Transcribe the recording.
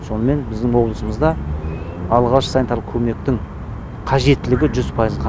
сонымен біздің облысымызда алғашқы санитарлық көмектің қажеттілігі жүз пайызға